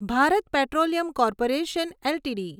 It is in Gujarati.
Bharat petroleum corporation LTD